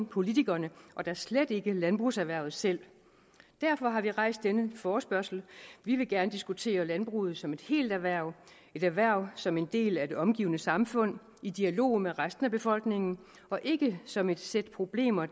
politikerne og da slet ikke landbrugserhvervet selv derfor har vi rejst denne forespørgsel vi vil gerne diskutere landbruget som et helt erhverv et erhverv som en del af det omgivende samfund i dialog med resten af befolkningen og ikke som et sæt problemer